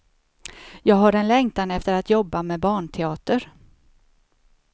Jag har en längtan efter att jobba med barnteater.